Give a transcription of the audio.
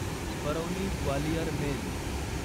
Barauni Gwalior mail